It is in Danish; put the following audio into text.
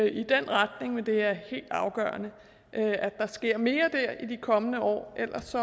i den retning men det er helt afgørende at der sker mere dér i de kommende år ellers